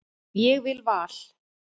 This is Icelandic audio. Ég vil Val.